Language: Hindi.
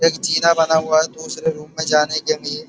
एक चिन्हा बना हुआ है दूसरे रूम में जाने के लिए।